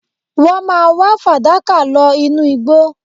Wọ́n máa wá fàdákà lọ inú igbó